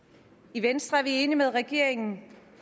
i venstre er vi enige med regeringen